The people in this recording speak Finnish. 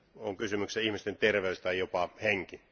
On kysymyksessä ihmisten terveys tai jopa henki.